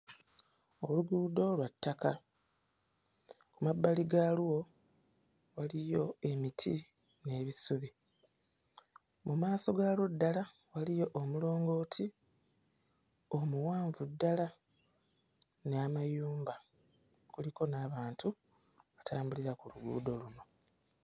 Oluguudo lwa ttaka. Mu mabali gaalwo waliyo emiti n'ebisubi, mu maaso gaalwo ddala waliyo omulongooti omuwanvu ddala n'amayumba; kuliko n'abantu abatambulira ku luguudo luno.